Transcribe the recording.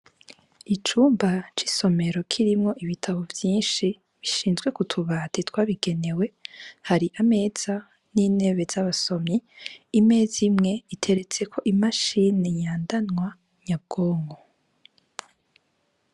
icumba c' isomero kirimw' ibitabo vyinshi bibitse kutubati twabigenewe har' amameza n' intebe z' abasomyi, imez' imw' iteretseko mudasobwa ngendanwa.